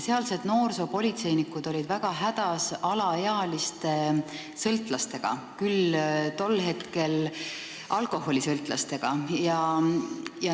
Sealsed noorsoopolitseinikud olid väga hädas alaealiste sõltlastega, tol hetkel küll alkoholisõltlastega.